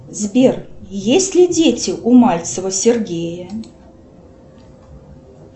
сбер есть ли дети у мальцева сергея